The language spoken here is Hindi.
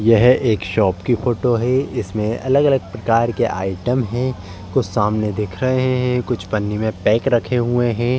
यह एक शॉप की फोटो है। इसमें अलग-अलग प्रकार के आइटम हैं । कुछ सामने दिख रहे हैं कुछ पन्नी में पैक रखे हुए हैं।